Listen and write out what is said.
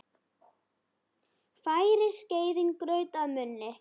Færir skeiðin graut að munni.